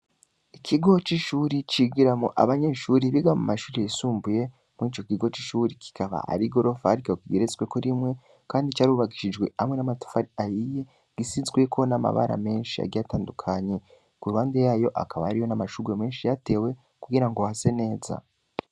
Ikigo c'ishuri, cigiramwo abanyeshuri biga mu mashuri yisumbuye, muri ico kigo c'ishuri kikaba ari igorofa, ariko kigeretsweko rimwe, kandi carubakishijwe hamwe n'amatafari ahiye, gisizweko n'amabara menshi, agiye atandukanye; ku ruhande yayo, hakaba hariyo n'amashurwe menshi yatewe, kugira ngo hase neza.